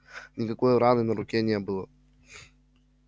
никакой раны на руке не было